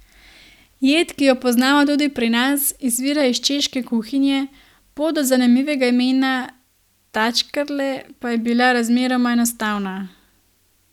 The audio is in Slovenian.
Jed, ki jo poznamo tudi pri nas, izvira iz češke kuhinje, pot do zanimivega imena tačkerle pa je bila razmeroma enostavna.